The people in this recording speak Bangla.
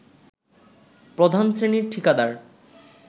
প্রধান শ্রেণীর ঠিকাদার